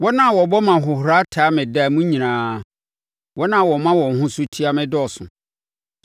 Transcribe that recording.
Wɔn a wɔbɔ me ahohora taa me da mu nyinaa; wɔn a wɔma wɔn ho so tia me dɔɔso.